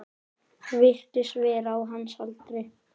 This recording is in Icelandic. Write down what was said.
Virtist vera á hans aldri.